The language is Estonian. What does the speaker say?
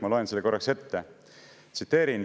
Ma loen selle ette.